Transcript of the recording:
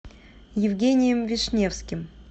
евгением вишневским